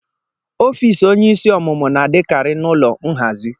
Ọfịs onyeisi ọmụmụ na-adịkarị n'ụlọ nhazi.